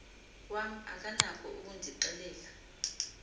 wam akanako ukundixelela